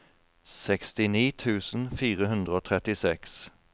sekstini tusen fire hundre og trettiseks